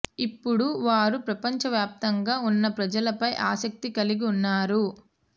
ఇప్పుడు వారు ప్రపంచ వ్యాప్తంగా ఉన్న ప్రజలపై ఆసక్తి కలిగి ఉన్నారు